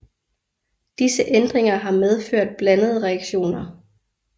Disse ændringer har medført blandede reaktioner